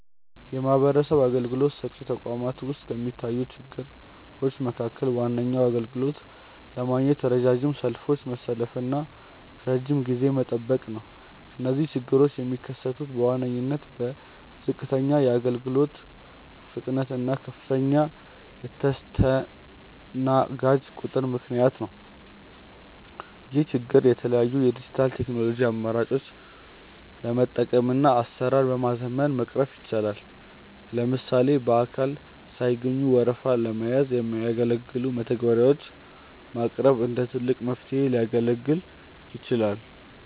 የማህበረሰብ አገልግሎት ሰጪ ተቋማት ውስጥ ከሚታዩ ችግሮች መካከል ዋነኛው አገልግሎት ለማግኘት ረጃጅም ሰልፎችን መሰለፍና ረጅም ጊዜ መጠበቅ ነው። እነዚህ ችግሮች የሚከሰቱት በዋነኝነት በዝቅተኛ የአገልግሎት ፍጥነት እና ከፍተኛ የተስተናጋጅ ቁጥር ምክንያት ነው። ይህን ችግር የተለያዩ የዲጂታል ቴክኖሎጂ አማራጮችን በመጠቀምና አሰራርን በማዘመን መቅረፍ ይቻላል። ለምሳሌ በአካል ሳይገኙ ወረፋ ለመያዝ የሚያገለግሉ መተግበሪያዎች ማቅረብ እንደ ትልቅ መፍትሄ ሊያገለግል ይችላል።